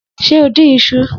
Se o dín iṣu?